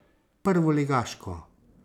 Prvoligaško.